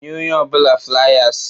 Nye onye ọ bụla fliers!